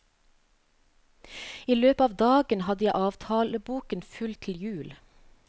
I løpet av dagen hadde jeg avtaleboken full til jul.